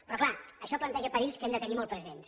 però clar això planteja perills que hem de tenir molt presents